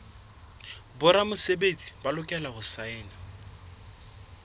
boramesebetsi ba lokela ho saena